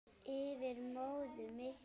Yfir móðuna miklu.